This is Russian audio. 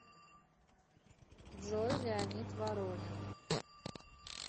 джой леонид воронин